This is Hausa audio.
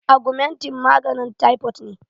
Agumentin maganin taifot ne